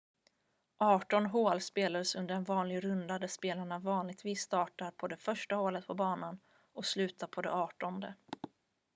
arton hål spelas under en vanlig runda där spelarna vanligtvis startar på det första hålet på banan och slutar på det artonde